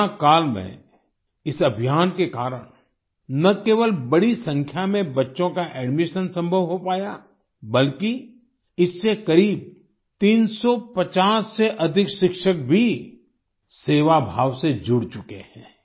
corona काल में इस अभियान के कारण न केवल बड़ी संख्या में बच्चों का एडमिशन संभव हो पाया बल्कि इससे करीब 350 से अधिक शिक्षक भी सेवाभाव से जुड़ चुके हैं